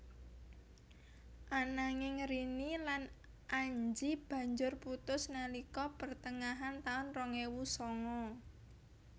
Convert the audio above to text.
Ananging Rini lan Anji banjur putus nalika pertengahan taun rong ewu sanga